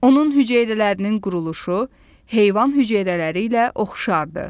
Onun hüceyrələrinin quruluşu heyvan hüceyrələri ilə oxşardır.